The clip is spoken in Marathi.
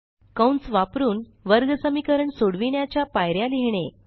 कंस वापरुन वर्ग समीकरण सोडविण्याच्या पायऱ्या लिहिणे